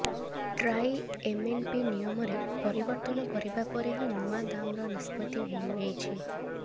TRAI MNP ନିୟମରେ ପରିବର୍ତ୍ତନ କରିବା ପରେ ହିଁ ନୂଆ ଦାମର ନିଷ୍ପତ୍ତି ନେଇଛି